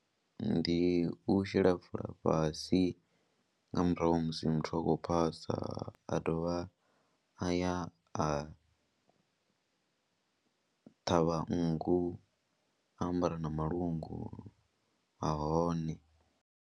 Ndi u shela fola fhasi nga murahu ha musi muthu a khou phasa, a dovha a ya a ṱhavha nngu a ambara na malungu a hone.